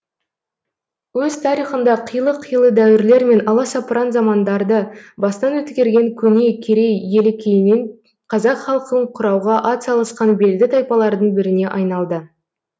өз тарихында қилы қилы дәуірлер мен аласапыран замандарды бастан өткерген көне керей елі кейіннен қазақ халқын құрауға атсалысқан белді тайпалардың біріне айналды